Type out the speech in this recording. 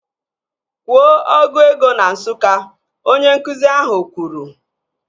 Kwuo ọgụ ego na Nsụka! Onye nkụzi ahụ kwuru